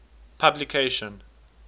publication